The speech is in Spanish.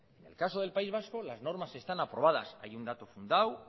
en el caso del país vasco las normas están aprobadas hay un dato fundado